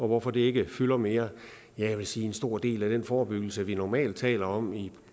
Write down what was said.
hvorfor det ikke fylder mere jeg vil sige at en stor del af den forebyggelse vi normalt taler om i